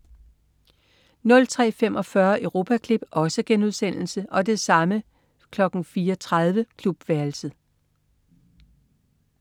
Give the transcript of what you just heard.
03.45 Europaklip* 04.30 Klubværelset*